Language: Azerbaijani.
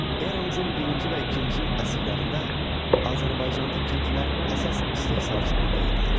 Eramızın birinci və ikinci əsrlərində Azərbaycanda kəndlilər əsas istehsalçı qüvvə idilər.